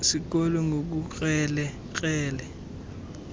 sikolo ngobukrele krele